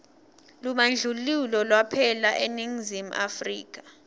lubandlululo lwaphela eningizimu afrika